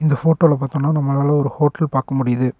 இந்த ஃபோட்டோல பாத்தோனா நம்மளால ஒரு ஹோட்டல் பாக்க முடியிது.